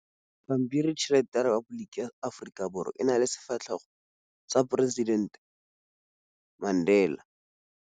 Pampiritšheletê ya Repaboliki ya Aforika Borwa e na le setshwantshô sa poresitentê Mandela.